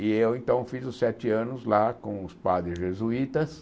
E eu então fiz os sete anos lá com os padres jesuítas.